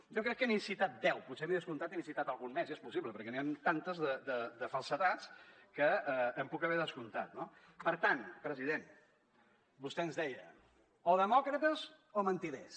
jo crec que n’he citat deu potser m’he descomptat i n’he citat alguna més és possible perquè n’hi ha tantes de falsedats que em puc haver descomptat no per tant president vostè ens deia o demòcrates o mentiders